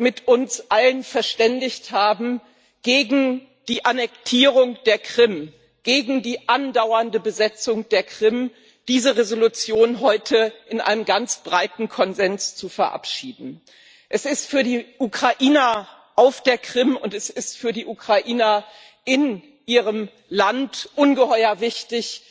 mit uns allen verständigt haben, gegen die Annektierung der Krim, gegen die andauernde Besetzung der Krim diese Entschließung heute mit einem ganz breiten Konsens zu verabschieden. Es ist für die Ukrainer auf der Krim und es ist für die Ukrainer in ihrem Land ungeheuer wichtig,